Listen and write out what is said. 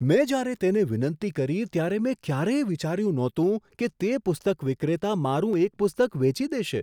મેં જ્યારે તેને વિનંતી કરી ત્યારે મેં ક્યારેય વિચાર્યું નહોતું કે તે પુસ્તક વિક્રેતા મારું એક પુસ્તક વેચી દેશે!